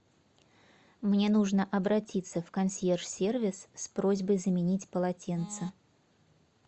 мне нужно обратиться в консьерж сервис с просьбой заменить полотенца